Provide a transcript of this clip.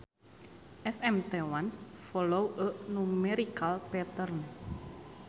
SMT ones follow a numerical pattern.